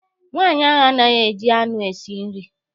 Nwaanyị ahụ anaghị eji anụ esi nri.